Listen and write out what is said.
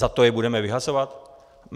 Za to je budeme vyhazovat?